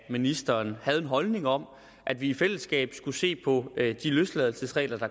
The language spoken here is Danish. ministeren havde en holdning om at vi i fællesskab skulle se på de løsladelsesregler så